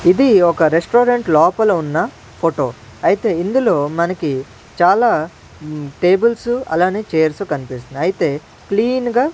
ఇది ఒక రెస్టారెంట్ లోపల ఉన్న ఫోటో అయితే ఇందులో మనకి చాలా ఉమ్ టేబుల్సు అలానే చైర్స్ కనిపిస్తున్నాయి అయితే క్లీన్ గా .